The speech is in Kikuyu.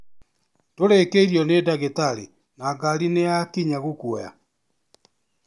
Ndũrĩkĩirĩo nĩ dagĩtarĩ na ngari nĩ ya kinya gũkũoya?